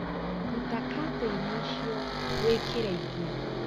Ruta katĩinĩ icio wĩkĩre ingĩ